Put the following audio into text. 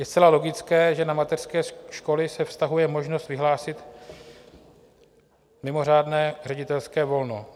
Je zcela logické, že na mateřské školy se vztahuje možnost vyhlásit mimořádné ředitelské volno.